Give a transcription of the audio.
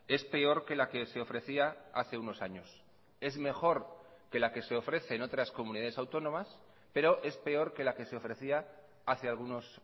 es peor que la que se ofrecía hace unos años es mejor que la que se ofrece en otras comunidades autónomas pero es peor que la que se ofrecía hace algunos